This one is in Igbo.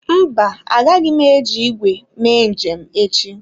Mba, agaghị m eji ígwè me njem echi.